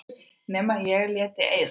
Nema ég léti eyða.